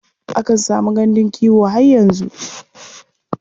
Akan samu gandun kiwo har yanzu.